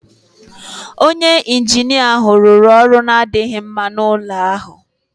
Onye injinia ahụ rụrụ ọrụ na-adịghị mma n'ụlọ ahụ